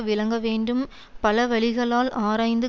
விளங்க வேண்டும் பலவழிகளால் ஆராய்ந்து